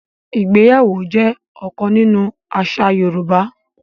Ìgbéyàwó jẹ́ ọ̀kan nínú àṣà Yorùbá.